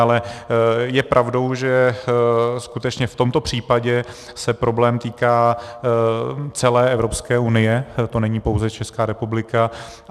Ale je pravdou, že skutečně v tomto případě se problém týká celé Evropské unie, to není pouze Česká republika.